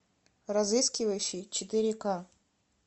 разыскивающий четыре ка